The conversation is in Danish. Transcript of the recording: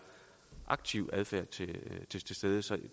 aktiv adfærd til så